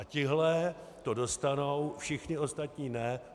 A tihle to dostanou, všichni ostatní ne.